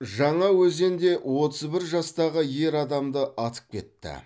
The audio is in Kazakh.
жаңаөзенде отыз бір жастағы ер адамды атып кетті